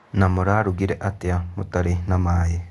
Na mũrarugire atĩa mũtarĩ na maĩ?